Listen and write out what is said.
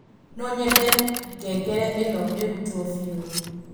nonyende ngengere ĩno ĩrutwo biũ